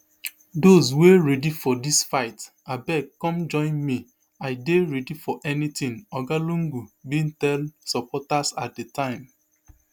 those wey ready for dis fight abeg come join me i dey ready for anything oga lungu bin tell supporters at di time